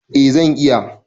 A zan iya